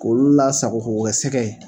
K'olu lasago k'o kɛ sɛgɛ ye